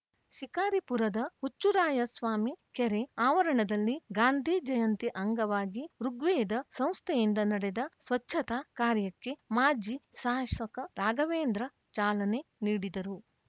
ಶಿಕಾರಿಪುರದ ಹುಚ್ಚುರಾಯಸ್ವಾಮಿ ಕೆರೆ ಆವರಣದಲ್ಲಿ ಗಾಂಧಿ ಜಯಂತಿ ಅಂಗವಾಗಿ ಋುಗ್ವೇದ ಸಂಸ್ಥೆಯಿಂದ ನಡೆದ ಸ್ವಚ್ಛತಾ ಕಾರ್ಯಕ್ಕೆ ಮಾಜಿ ಶಾಸಕ ರಾಘವೇಂದ್ರ ಚಾಲನೆ ನೀಡಿದರು